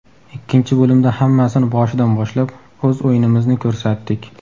Ikkinchi bo‘limda hammasini boshidan boshlab, o‘z o‘yinimizni ko‘rsatdik.